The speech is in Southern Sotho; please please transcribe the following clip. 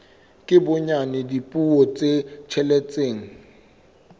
ka bonyane dipuo tse tsheletseng